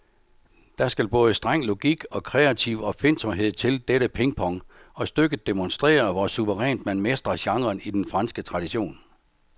Der skal både streng logik og kreativ opfindsomhed til dette pingpong, og stykket demonstrerer, hvor suverænt man mestrer genren i den franske tradition.